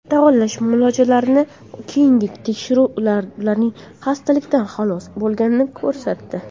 Davolash muolajalaridan keyingi tekshiruvlar ularning xastalikdan xalos bo‘lganini ko‘rsatdi.